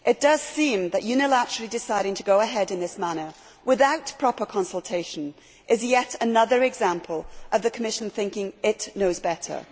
It does seem that unilaterally deciding to go ahead in this manner without proper consultation is yet another example of the Commission thinking it knows better.